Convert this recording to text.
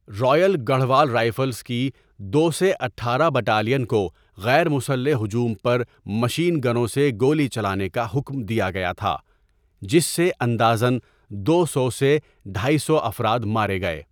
Royal Garhwal rifles کی دو سے اٹھارہ بٹالین کو غیر مسلح ہجوم پر مشین گنوں سے گولی چلانے کا حکم دیا گیا تھا، جس سے اندازاً دو سو سے ڈاے سو افراد مارے گئے۔